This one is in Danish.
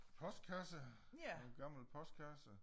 Postkasse en gammel postkasse